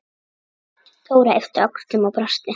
Dóra yppti öxlum og brosti.